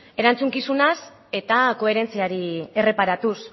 erantzukizunaz eta koherentziari erreparatuz